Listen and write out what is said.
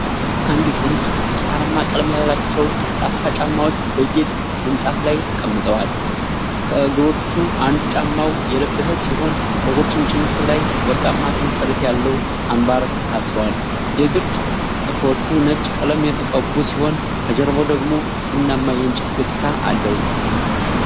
አንድ ጥንድ ብርቱካናማ ቀለም ያላቸው ጠፍጣፋ ጫማዎች በጌጥ ምንጣፍ ላይ ተቀምጠዋል። ከእግሮቹ አንዱ ጫማውን የለበሰ ሲሆን፣ በቁርጭምጭሚቱ ላይ ወርቃማ ሰንሰለት ያለው አምባር ታስሯል። የእግር ጥፍሮቹ ነጭ ቀለም የተቀቡ ሲሆን፣ ከጀርባው ደግሞ ቡናማ የእንጨት ገጽታ አለ።